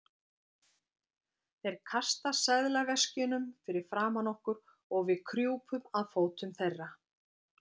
Þeir kasta seðlaveskjunum fyrir framan okkur og við krjúpum að fótum þeirra.